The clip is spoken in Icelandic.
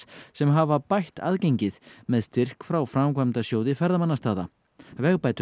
sem hafa bætt aðgengið með styrk frá framkvæmdasjóði ferðamannastaða